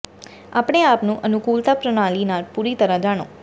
ਆਪਣੇ ਆਪ ਨੂੰ ਅਨੁਕੂਲਤਾ ਪ੍ਰਣਾਲੀ ਨਾਲ ਪੂਰੀ ਤਰ੍ਹਾਂ ਜਾਣੋ